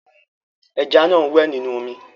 Ẹja náà ń wẹ̀ nínú omi.